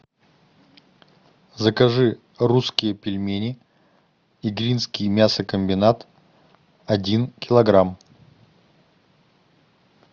закажи русские пельмени игринский мясокомбинат один килограмм